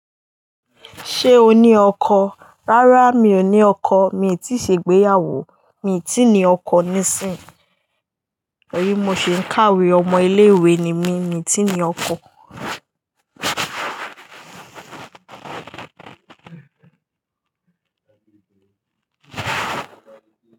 Ṣé o ní ọkọ? Rárá mi ò ní ọkọ, mi tíì ṣe ìgbéyàwó, mi ti ni ọkọ nísìnyí. Tori mo si n kawe o. Ọmọ ilé ìwé ni mí, mi tíi ní ọkọ.